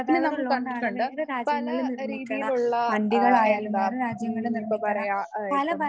പിന്നെ നമ്മൾ കണ്ടിട്ടുണ്ട് പലരീതിയിലുള്ള ആഹ് എന്താ ഉം ഇപ്പൊ പറയുക ഇപ്പം